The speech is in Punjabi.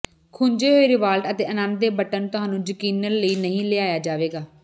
ਖੁੰਝੇ ਹੋਏ ਰਿਵਾਲਟ ਅਤੇ ਅਨੰਦ ਦੇ ਬਟਨ ਤੁਹਾਨੂੰ ਯਕੀਨਨ ਲਈ ਨਹੀਂ ਲਿਆਇਆ ਜਾਵੇਗਾ